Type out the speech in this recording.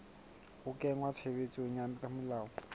ho kenngwa tshebetsong ha melao